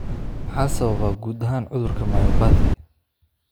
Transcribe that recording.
Maxaa sababa guud ahaan cudurka myopathy?